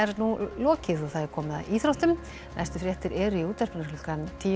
lokið og komið að íþróttum næstu fréttir eru í útvarpinu klukkan tíu